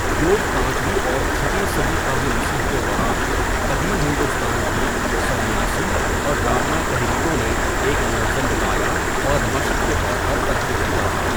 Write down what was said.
یوگ پانچویں اور چھٹی صدی قبل مسیح کے دوران قدیم ہندوستان کی سنیاسی اور رامنا تحریکوں میں ایک منظم مطالعہ اور مشق کے طور پر ترقی کرتا رہا۔